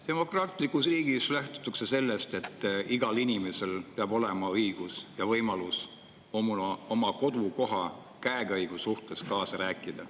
Demokraatlikus riigis lähtutakse sellest, et igal inimesel peab olema õigus ja võimalus oma kodukoha käekäigus kaasa rääkida.